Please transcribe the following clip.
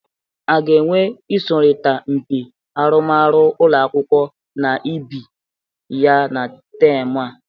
A ga-enwe ịsọrịta mpị arụmarụ ụlọ akwụkwọ na ibe ya na temụ a?